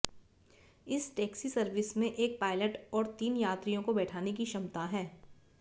इस taxi service में एक पायलट और तीन यात्रियों को बैठाने की क्षमता है